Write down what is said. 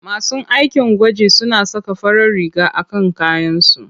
Masu aikin gwaji suna saka farar riga a kan kayansu.